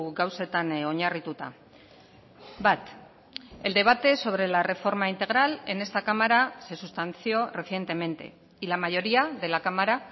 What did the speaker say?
gauzetan oinarrituta bat el debate sobre la reforma integral en esta cámara se sustanció recientemente y la mayoría de la cámara